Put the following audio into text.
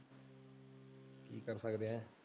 ਕੀ ਕਰ ਸਕਦੇ ਆ।